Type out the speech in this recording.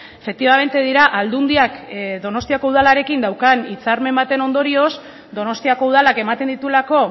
efectivamente dira aldundiak donostiako udalarekin daukan hitzarmen baten ondorioz donostiako udalak ematen dituelako